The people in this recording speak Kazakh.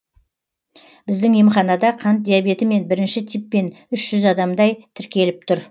біздің емханада қант диабетімен бірінші типпен үш жүз адамдай тіркеліп тұр